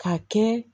K'a kɛ